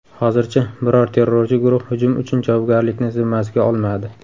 Hozircha biror terrorchi guruh hujum uchun javobgarlikni zimmasiga olmadi.